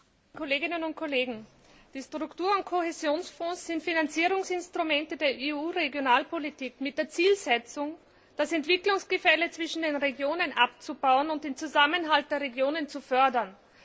Herr Präsident, liebe Kolleginnen und Kollegen! Die Struktur und Kohäsionsfonds sind Finanzierungsinstrumente der EU Regionalpolitik mit der Zielsetzung, das Entwicklungsgefälle zwischen den Regionen abzubauen und den Zusammenhalt der Regionen zu fördern.